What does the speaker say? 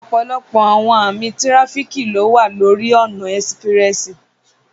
Ọpọlọpọ awọn ami tirafíki wa lori ọna espressi